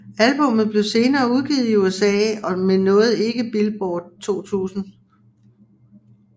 Albummet blev senere udgivet i USA men nåede ikke Billboard 200